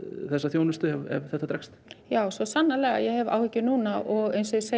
þessa þjónustu ef þetta dregst já svo sannarlega ég hef áhyggjur núna og